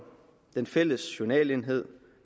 den fælles journalenhed